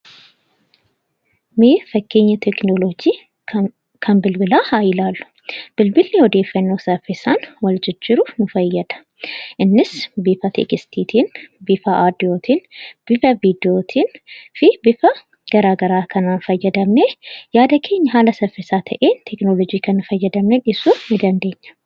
Mee fakkeenya teekinoloojii kan bilbilaa haa ilaallu! Bilbilli odeeffannoo saffisaan wal jijjiiruuf nu fayyada. Innis bifa ergaa barreeffaman, sagaleen, suur-sagaleen fi bifa garaa garaa kanaan fayyadamnee yaada keenya haala saffisaa ta'een tekinoloojii kana fayyadamnee ibsuu ni dandeenya.